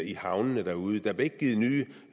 i havnene derude der blev ikke givet nye